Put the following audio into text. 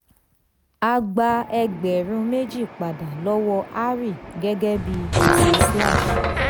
a gba ẹgbẹ̀rún méjì pada lọ́wọ́ hari gẹ́gẹ́ bí gbèsè.